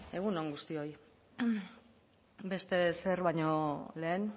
egun on guztioi beste ezer baino lehen